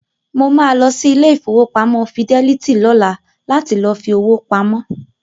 Mo máa lọ sí ilé ìfowópamọ́ Fidelity lọ́la láti lọ fi owó pamọ́.